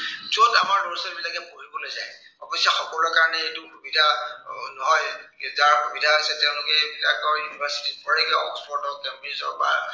য'ত আমাৰ ল'ৰা-ছোৱালীবিলাকে পঢ়িবলৈ যায়। অৱশ্য়ে সকলোৰে কাৰনে এইটো সুবিধা এৰ নহয় যাৰ সুবিধা হৈছে, তেওঁলোকে এইবিলাক university ত পঢ়েগে। অক্সফৰ্ডত কেম্ব্ৰিজ বা